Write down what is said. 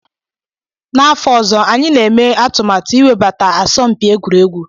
N'afọ ọzọ, anyị na-eme atụmatụ iwebata asọmpi egwuregwu.